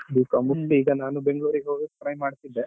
B.Com ಮುಗ್ಸಿ ಈಗ ನಾನು Bangalore ಗೆ ಹೋಗಕ್ಕೆ try ಮಾಡ್ತಿದ್ದೆ.